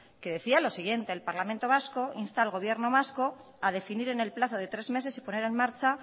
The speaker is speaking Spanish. que decía lo siguiente el parlamento vasco insta al gobierno vasco a definir en el plazo de tres meses y poner en marcha